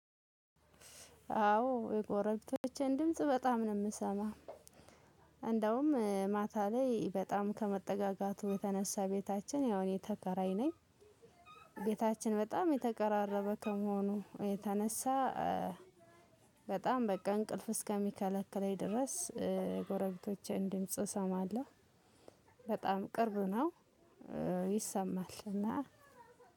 አዎ የጎረቤቶችን ድምጽ በጣም ነው የምሰማው። እንደውም ማታ ላይ በጣም ከመጠጋጋቱ የተነሳ ቤታችን ያው እኔ ተከራይ ነኝ። ቤታችን በጣም የተቀራረበ ከመሆኑ የተነሳ። በጣም እንቅልፍ እስከሚከለክለኝ ድረስ የጎረቤቶቸን ድምጽ እሰማለሁ። በጣም ቅርብ ነው። ይሰማል እና